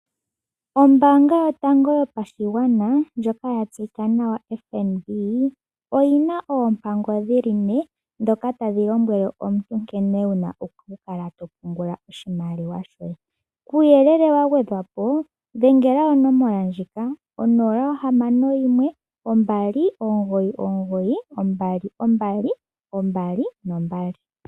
Ombaanga yotango yopashigwana ndjoka ya tseyika nawa FNB oyina oompango dhili ne ndhoka tadhi lombwele aantu nkene wuna okukala to pungula oshimaliwa. Kuuyelele wa gwedhwapo dhengela onomola 061 2992222